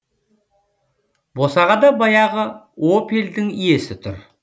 босағада баяғы опельдің иесі тұр